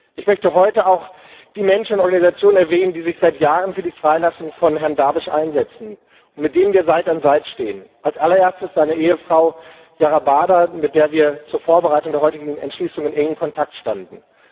Ich möchte heute auch die Menschenrechtsorganisationen erwähnen, die sich seit Jahren für die Freilassung von Herrn Darwish einsetzen und mit denen wir Seite an Seite stehen, als allererstes seine Ehefrau, Yara Bada, mit der wir zur Vorbereitung der heutigen Entschließung in engem Kontakt standen.